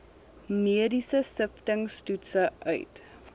mediese siftingstoetse uit